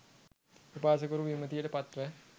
උපාසකවරු, විමතියට පත්ව,